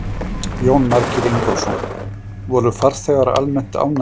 Jónas Margeir Ingólfsson: Voru farþegar almennt ánægðir?